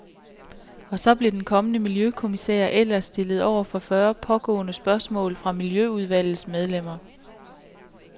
Og så blev den kommende miljøkommissær ellers stillet over for fyrre pågående spørgsmål fra miljøudvalgets medlemmer.